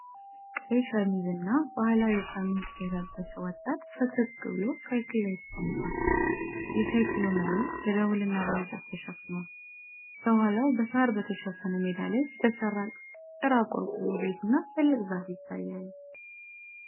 ቀይ ሸሚዝ እና ባህላዊ ባርኔጣ የለበሰ ወጣት ፈገግ ብሎ ሳይክል ላይ ተቀምጧል። የሳይክሉ መሪ በደወልና በእንጨት ተሸፍኗል። ከኋላው በሳር በተሸፈነ ሜዳ ላይ የተሰራ ጭራ ቆርቆሮ ቤትና ትልቅ ዛፍ ይታያሉ።